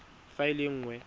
fa e le e nnye